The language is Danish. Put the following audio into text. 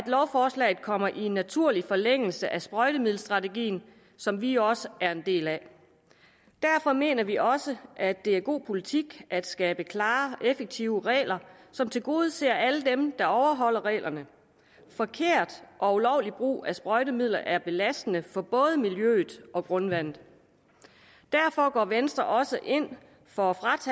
lovforslaget kommer i en naturlig forlængelse af sprøjtemiddelstrategien som vi også er en del af derfor mener vi også at det er god politik at skabe klare effektive regler som tilgodeser alle dem der overholder reglerne forkert og ulovlig brug af sprøjtemidler er belastende for både miljøet og grundvandet derfor går venstre også ind for